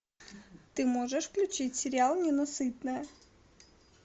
ты можешь включить сериал ненасытная